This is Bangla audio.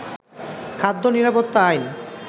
খাদ্য নিরাপত্তা আইন